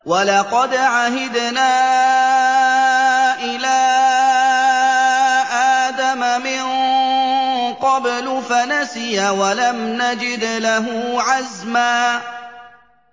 وَلَقَدْ عَهِدْنَا إِلَىٰ آدَمَ مِن قَبْلُ فَنَسِيَ وَلَمْ نَجِدْ لَهُ عَزْمًا